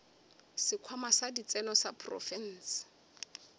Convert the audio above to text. sekhwama sa ditseno sa profense